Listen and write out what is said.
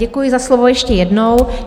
Děkuji za slovo ještě jednou.